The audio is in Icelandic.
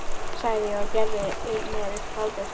sagði ég og gerði mér upp hlátur.